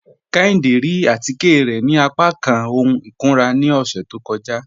Kéhìndé rí àtíkẹ̀ rẹ̀ ni àpàkán ọ̀hun ikúnrà ni ọṣẹ̀ tó kọ́jà